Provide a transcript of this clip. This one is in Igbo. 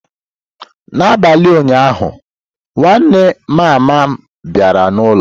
N'abalị ụnyaahụ, nwanne mama m bịara n'ụlọ.